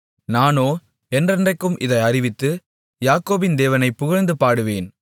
நானோ என்றென்றைக்கும் இதை அறிவித்து யாக்கோபின் தேவனைக் புகழ்ந்து பாடுவேன்